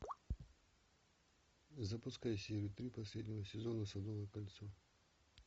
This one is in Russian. запускай серию три последнего сезона садовое кольцо